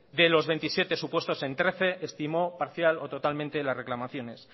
de los veintisiete supuestos en trece estimó parcial o totalmente las reclamaciones